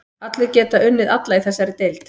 Allir geta unnið alla í þessari deild.